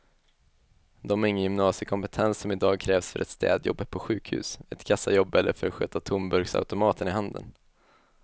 De har ingen gymnasiekompetens som i dag krävs för ett städjobb på sjukhus, ett kassajobb eller för att sköta tomburksautomaterna i handeln.